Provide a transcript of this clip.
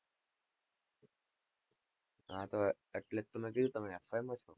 હા તો એટલે જ તો મેં કીધું તમે FY માં છો?